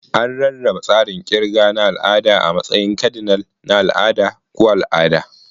An rarraba tsarin kirga na al'ada a matsayin kadinal, na al'ada, ko al'ada.